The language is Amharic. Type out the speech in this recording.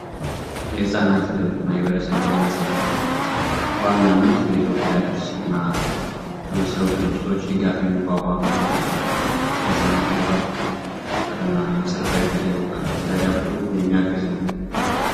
የህጻናት እና የማህበረሰብ ቤተመጻፍት በዋናነት በኢትዮጵያ ቅድስና በመሰሉ ድርጅቶች የሚቋቋም ሲሆን ፍቅርና የመሰረታዊ ፊደል ዕውቀት እንዲያዳብሩ የሚያግዝ ነው።